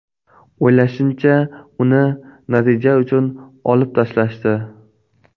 O‘ylashimcha, uni natija uchun olib tashlashdi.